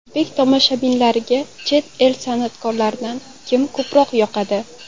O‘zbek tomoshabinlariga chet el san’atkorlaridan kim ko‘proq yoqadi?